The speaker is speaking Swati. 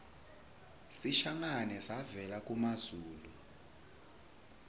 sishangane savela kumazulu